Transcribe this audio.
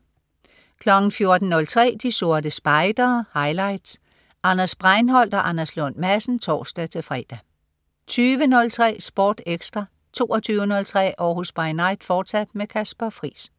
14.03 De Sorte Spejdere. Highlights. Anders Breinholt og Anders Lund Madsen (tors-fre) 20.03 Sport Ekstra 22.03 Århus By Night, fortsat. Kasper Friis